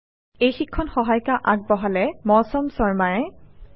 যোগদানৰ বাবে ধন্যবাদ